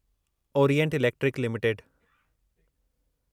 Orient Electric limited